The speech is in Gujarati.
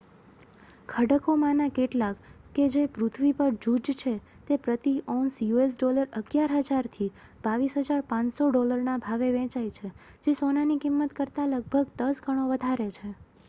ખડકોમાંના કેટલાક જે પૃથ્વી પર જૂજ છે તે પ્રતિ ઔંસ us$11,000થી $22,500ના ભાવે વેચાય છે જે સોનાની કિંમત કરતાં લગભગ દસ ગણો વધારે છે